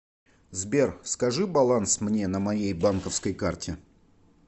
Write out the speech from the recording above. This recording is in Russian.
сбер скажи баланс мне на моей банковской карте